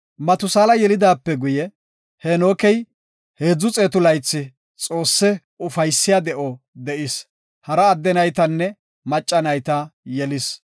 Matusaala yelidaape guye, Heenokey 300 laythi Xoosse ufaysiya de7o de7is. Hara adde naytanne macca nayta yelis.